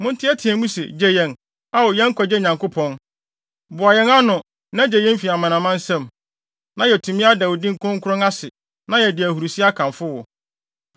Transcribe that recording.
Monteɛteɛ mu se, “Gye yɛn, Ao yɛn nkwagye Onyankopɔn! Boa yɛn ano, na gye yɛn fi amanaman nsam, na yɛatumi ada wo din kronkron ase, na yɛadi ahurusi akamfo wo.”